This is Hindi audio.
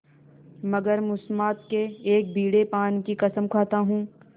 मगर मुसम्मात के एक बीड़े पान की कसम खाता हूँ